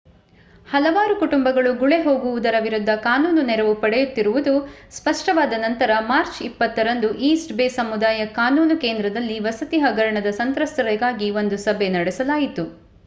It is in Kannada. ಹಲವಾರು ಕುಟುಂಬಗಳು ಗುಳೆ ಹೋಗುವುದರ ವಿರುದ್ಧ ಕಾನೂನು ನೆರವು ಪಡೆಯುತ್ತಿರುವುದು ಸ್ಪಷ್ಟವಾದ ನಂತರ ಮಾರ್ಚ್ 20 ರಂದು ಈಸ್ಟ್ ಬೇ ಸಮುದಾಯ ಕಾನೂನು ಕೇಂದ್ರದಲ್ಲಿ ವಸತಿ ಹಗರಣದ ಸಂತ್ರಸ್ತರಿಗಾಗಿ ಒಂದು ಸಭೆ ನಡೆಸಲಾಯಿತು